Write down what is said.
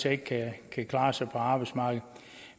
ikke kan klare sig på arbejdsmarkedet